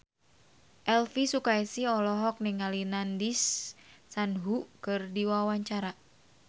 Elvi Sukaesih olohok ningali Nandish Sandhu keur diwawancara